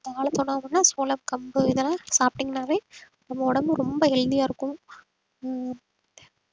அந்த காலத்து உணவுகள்ன்னா சோளம் கம்பு இதெல்லாம் சாப்பிட்டீங்கன்னாவே உங்க உடம்பு ரொம்ப healthy யா இருக்கும் ஆஹ்